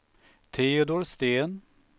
Teodor Sten